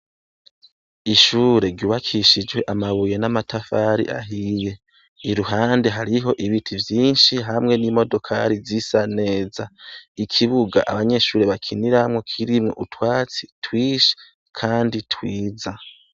Ishure ryubakishijwe amabuye n'amatafari ahiye. Iruhande hariho ibiti vyinshi hamwe n'imodokari zisa neza. Ikibuga abanyeshure bakiniramwo kirimwo utwatsi twinshi kandi twiza.